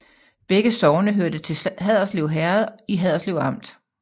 Begge sogne hørte til Haderslev Herred i Haderslev Amt